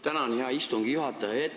Tänan, hea istungi juhataja!